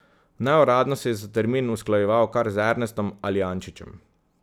Neuradno se je za termin usklajeval kar z Ernestom Aljančičem.